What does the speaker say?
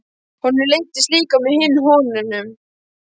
Honum leiddist líka með hinum konunum.